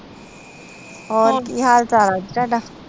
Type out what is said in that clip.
ਹੋਰ ਕਿ ਹਾਲ ਚਾਲ ਆ ਜੀ ਥਾਡਾ